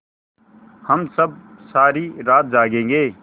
हम सब सारी रात जागेंगे